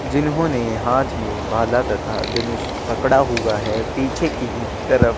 जिन्होंने हाथ में भाला तथा धनुष पड़ा हुआ है पीछे के ही तरफ--